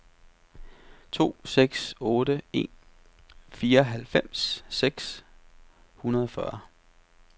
to seks otte en fireoghalvfems seks hundrede og fyrre